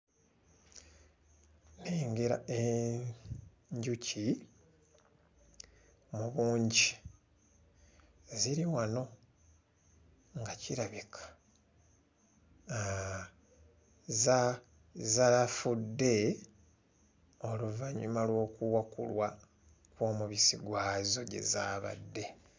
Nnengera enjuki mu bungi, ziri wano nga kirabika aa za zaafudde oluvannyuma lw'okuwakulwa omubisi gwazo gye zaabadde.